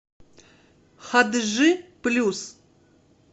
хадыжи плюс